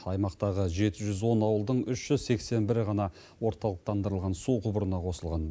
аймақтағы жеті жүз он ауылдың үш жүз сексен бірі ғана орталықтандырылған су құбырына қосылған